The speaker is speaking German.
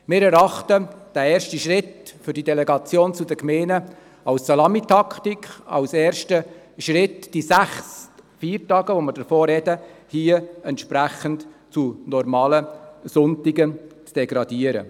Wir erachten diesen ersten Schritt für die Delegation an die Gemeinden als Salamitaktik, als ersten Schritt, die sechs Feiertage, von denen wir sprechen, hier entsprechend zu normalen Sonntagen zu degradieren.